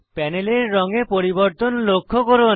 প্যানেলের রঙে পরিবর্তন লক্ষ্য করুন